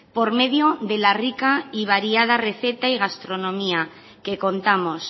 por medio de la rica y variada receta y gastronomía que contamos